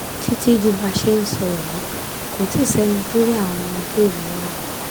títí di bá a ṣe ń sọ yìí kò tí ì sẹ́ni tó rí àwọn ọmọléèwé náà